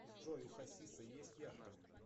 джой у хасиса есть яхта